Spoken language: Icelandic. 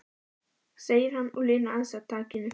segir hann og linar aðeins á takinu.